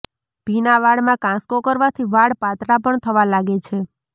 ભીના વાળમાં કાંસકો કરવાથી વાળ પાતળા પણ થવા લાગે છે